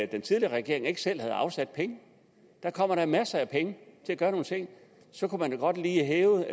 den tidligere regering ikke selv havde afsat penge kommer der masser af penge til at gøre nogle ting så kunne man jo godt lige have